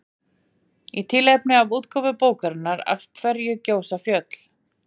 í tilefni af útgáfu bókarinnar af hverju gjósa fjöll